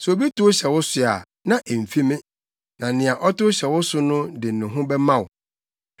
Sɛ obi tow hyɛ wo so a, na emfi me; na nea ɔtow hyɛ wo so no de ne ho bɛma wo.